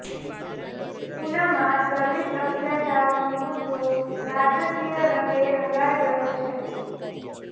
ઉનામાં દલિત અત્યાચારનો મુદ્દો રાજકીય રંગે રંગાય ગયો છે